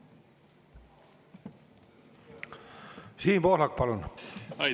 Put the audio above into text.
Siim Pohlak, palun!